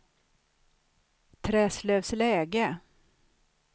Träslövsläge